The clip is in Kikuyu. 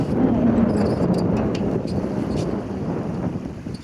Thaa ĩrarũgamĩre thaa 3:33